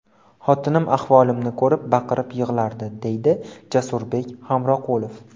Xotinim ahvolimni ko‘rib, baqirib yig‘lardi, deydi Jasurbek Hamroqulov.